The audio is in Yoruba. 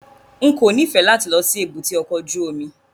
N kò nífẹ̀ẹ́ láti lọ sí èbúté ọkọ̀ ojú omi.